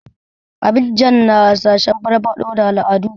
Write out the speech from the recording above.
Abidjan na hasashen farfaɗo da al'adu.